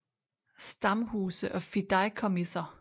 Stamhuse og fideikommiser